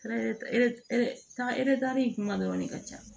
Ka kuma dɔrɔn de ka ca